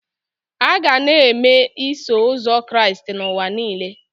A ga na-eme Iso Ụzọ Kraịst n'ụwa niile.